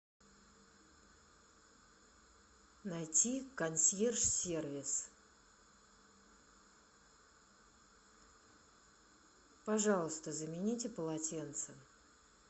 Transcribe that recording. найти консьерж сервис пожалуйста замените полотенца